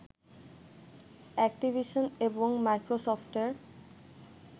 Activision এবং মাইক্রোসফটের